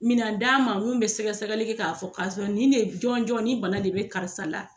Minan d'a ma mun bɛ sɛgɛ sɛgɛli kɛ k'a fɔ ka ni de jɔn jɔn nin bana de bɛ karisa la.